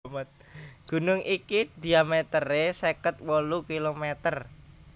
Gunung iki diamètere seket wolu kilomèter